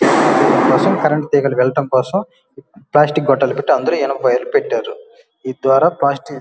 Machine current తీగలు వెళ్ళటం కోసం ప్లాస్టిక్ గొట్టాలు పెట్టి అందులో ఇనప వైర్ లు పెట్టారు. ఈ ద్వారా ప్లాస్టిక్ --